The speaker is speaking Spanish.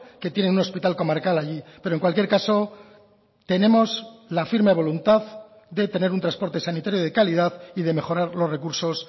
que tiene un hospital comarcal allí pero en cualquier caso tenemos la firme voluntad de tener un transporte sanitario de calidad y de mejorar los recursos